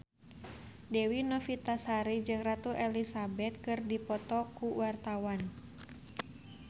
Dewi Novitasari jeung Ratu Elizabeth keur dipoto ku wartawan